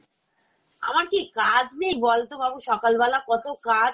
আমার কি কাজ নেই বলতো বাবু? সকালবেলা কত কাজ